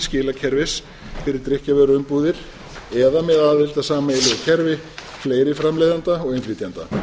skilakerfis fyrir drykkjarvöruumbúðir eða með aðild að sameiginlegu kerfi fleiri framleiðenda og innflytjenda